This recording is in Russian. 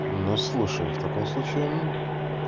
но слушаю в таком случае